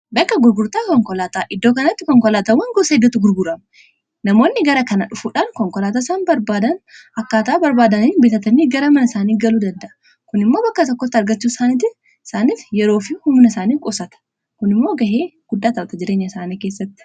bakka gurgurtaa konkolaataa iddoo kanatti konkolaatawwan gosa iddootu gurgurama namoonni gara kana dhufuudhaan konkolaataa isaan barbaadan akkaataa barbaadanii bitatanii gara mana isaanii galuu danda'a kun immoo bakka tokkotta argachuu isaaniif yeroo fi humna isaanii qosata kun immoo ga'ee guddaataawata jireenya isaanii keessatti